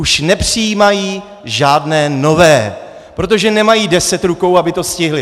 Už nepřijímají žádné nové, protože nemají deset rukou, aby to stihli.